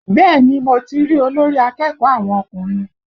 Bẹ́ẹ̀ni mo ti rí olórí akẹ́kọ̀ọ́ àwọn ọkùnrin